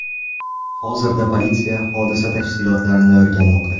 Hozirda politsiya hodisa tafsilotlarini o‘rganmoqda.